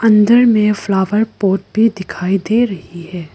इधर में flower pot भी दिखाई दे रही है।